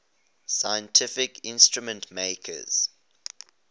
scientific instrument makers